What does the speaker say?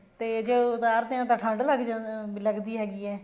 ਤੇ ਜੇ ਉਤਰਦੇ ਹਾਂ ਤਾਂ ਠੰਡ ਲੱਗ ਅਮ ਲੱਗਦੀ ਹੈਗੀ ਹੈ